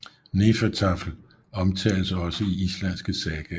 Hnefatafl omtaltes også i islandske sagaer